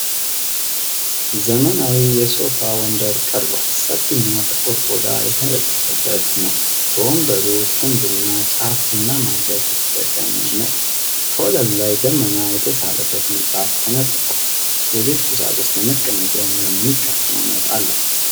ዘመናዊ የሶፋ ወንበር ቀርቧል። ሰፊና ጥቁር ቆዳ የተነጠፈበት ነው። የወንበሩ ክንድና ጫፍ ቡናማ እንጨት የተጠቀም ነው። ከወለሉ ላይ ደመና የተሳለበት ምንጣፍ ተነጥፏል። የቤት ቁሳቁሱ ለመቀመጫ የሚሆን ምቹ አቀማመጥ አለው።